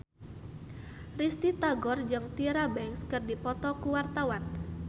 Risty Tagor jeung Tyra Banks keur dipoto ku wartawan